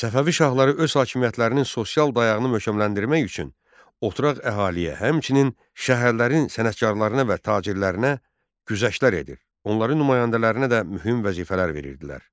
Səfəvi şahları öz hakimiyyətlərinin sosial dayağını möhkəmləndirmək üçün oturaq əhaliyə, həmçinin şəhərlərin sənətkarlarına və tacirlərinə güzəştlər edir, onların nümayəndələrinə də mühüm vəzifələr verirdilər.